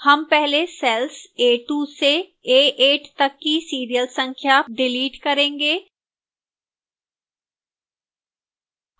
हम पहले cells a2 से a8 तक की serial संख्या डिलीट करेंगे